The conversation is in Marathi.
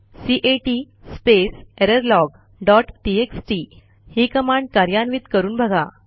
cat space error log dot TXT ही कमांड कार्यान्वित करून बघा